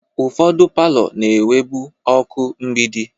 Ụfọdụ palọ na-enwebu ọkụ mgbidi.